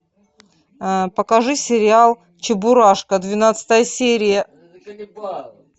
покажи сериал чебурашка двенадцатая серия